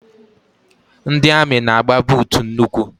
Ndị amị na-agba buutu n'ụkwụ.